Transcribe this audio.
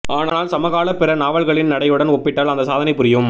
ஆனால் சமகால பிற நாவல்களின் நடையுடன் ஒப்பிட்டால் அந்த சாதனை புரியும்